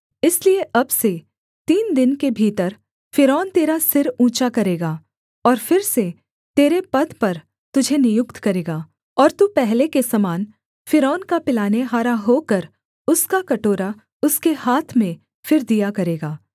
इसलिए अब से तीन दिन के भीतर फ़िरौन तेरा सिर ऊँचा करेगा और फिर से तेरे पद पर तुझे नियुक्त करेगा और तू पहले के समान फ़िरौन का पिलानेहारा होकर उसका कटोरा उसके हाथ में फिर दिया करेगा